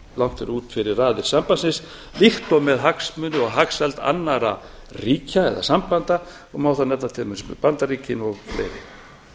langt út fyrir raðir sambandsins líkt og með hagsmuni og hagsæld annarra ríkja eða sambanda og má þar nefna til dæmis bandaríkin og fleiri